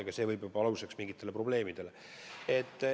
Juba see võib olla aluseks mingitele probleemidele.